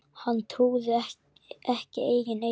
Hann trúði ekki eigin eyrum.